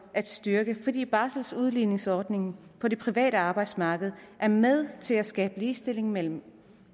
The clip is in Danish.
at styrke fordi barseludligningsordningen på det private arbejdsmarked er med til at skabe ligestilling mellem